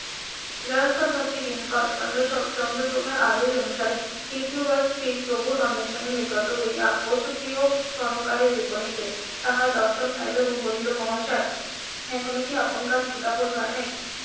. চন্দ্রপ্রভার আদেশ অনুসারে দ্বিতীয় বার স্ত্রীর প্রভুর অন্বেষণে গত হইয়া . স্বর্ণকারের বিপরীতে তাহার দর্শন পাইলো এবং বলিল মহাশয় এখন কি আপনকার ক্ষুদা বোধ হয় নাই